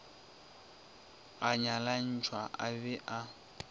a nyalantšhwa a be a